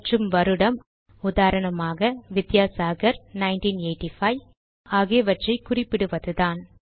மற்றும் வருடம் உதாரணமாக வித்தியாசாகர் 1985 ஆகியவற்றை குறிப்பிடுவதுதான்